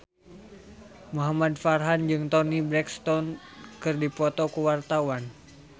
Muhamad Farhan jeung Toni Brexton keur dipoto ku wartawan